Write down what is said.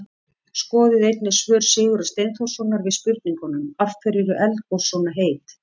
Skoðið einnig svör Sigurðar Steinþórssonar við spurningunum: Af hverju eru eldgos svona heit?